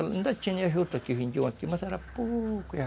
Ainda tinha juta que vendiam aqui, mas era pouco...